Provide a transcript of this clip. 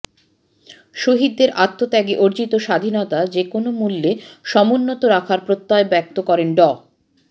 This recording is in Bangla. শহীদের আত্বত্যাগে অর্জিত স্বাধীনতা যে কোনো মূল্যে সমুন্নত রাখার প্রত্যয় ব্যক্ত করেন ড